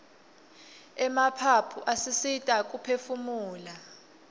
emaphaphu asisita kuphefumula